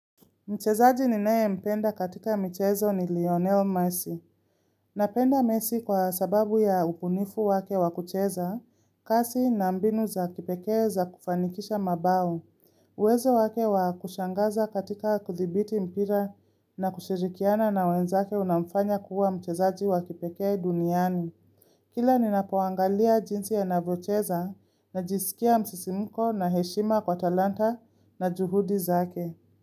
Mchezaji ninaempenda katika michezo ni Lionel Messi. Nampenda Messi kwa sababu ya ubunifu wake wa kucheza kasi na mbinu za kipekee za kufanikisha mabao. Uwezo wake wa kushangaza katika kudhibiti mpira na kushirikiana na wenzake unamfanya kuwa mchezaji wa kipekee duniani. Kila ninapoangalia jinsi anavyocheza najisikia msisimko na heshima kwa talanta na juhudi zake.